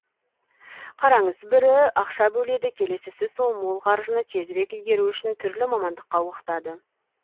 қараңыз бірі ақша бөледі келесісі сол мол қаржыны тезірек игеру үшін түрлі мамандыққа оқытады